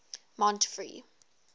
montfree